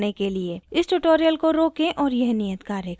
इस tutorial को रोकें और यह नियत कार्य करें